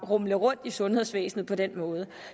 rumle rundt i sundhedsvæsenet på den måde